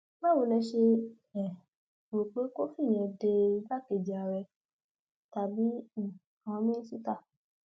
báwo lẹ ṣe um rò pé kòfin yẹn de igbákejì ààrẹ tàbí um àwọn mínísítà